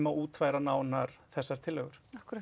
að útfæra nánar þessar tillögur